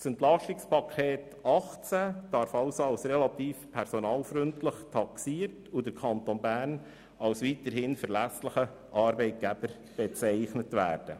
Das EP 2018 darf als relativ personalfreundlich taxiert und der Kanton Bern weiterhin als relativ verlässlicher Arbeitgeber bezeichnet werden.